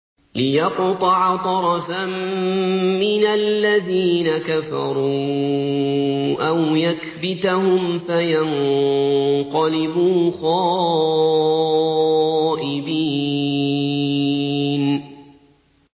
لِيَقْطَعَ طَرَفًا مِّنَ الَّذِينَ كَفَرُوا أَوْ يَكْبِتَهُمْ فَيَنقَلِبُوا خَائِبِينَ